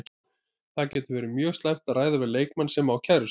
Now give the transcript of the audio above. Það getur verið mjög slæmt að ræða við leikmann sem á kærustu.